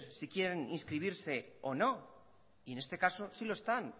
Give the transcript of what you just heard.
si quieren inscribirse o no y en este caso sí lo están